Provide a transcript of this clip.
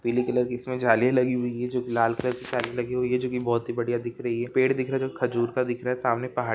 पीली कलर की इसमे जाली लगी हुई है जो की लाल कलर की लगी हुई है जो की बहुत ही बढ़िया दिख रही है पेड़ दिख रहे खजुर का दिख रहा है सामने पहाड--